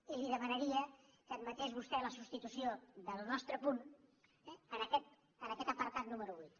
i li demanaria que admetés vostè la substitució del nostre punt en aquest apartat número vuit